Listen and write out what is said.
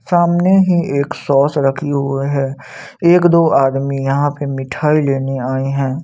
सामने ही एक सॉश रखे हुए है एक दो आदमी यहाँ पे मिठाई लेने आए हैं।